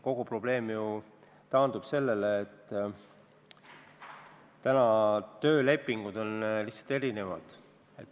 Kogu probleem taandub ju sellele, et tänased töölepingud on lihtsalt erinevad.